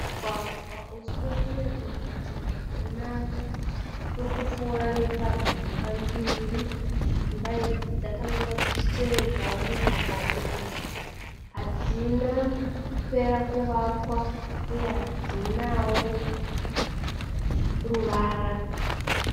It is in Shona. Mugwagwa usina kunyatsogadzirwa zvakanaka. Uri kupfuura nepadzimba mbiri, dzimba idzi dzakamira dzichitevedzawo mugwagwa uyu. Hadzina kupera kuvakwa uye hadzinawo ruvara.